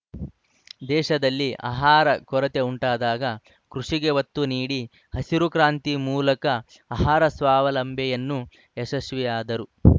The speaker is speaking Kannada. ದೇಶದಲ್ಲಿ ಆಹಾರ ಕೊರತೆ ಉಂಟಾದಾಗ ಕೃಷಿಗೆ ಒತ್ತು ನೀಡಿ ಹಸಿರು ಕ್ರಾಂತಿ ಮೂಲಕ ಆಹಾರ ಸ್ವಾವಲಂಬನೆಯನ್ನು ಯಶಸ್ವಿಯಾದರು